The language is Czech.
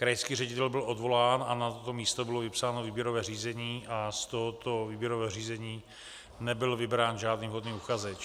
Krajský ředitel byl odvolán a na toto místo bylo vypsáno výběrové řízení a z tohoto výběrového řízení nebyl vybrán žádný vhodný uchazeč.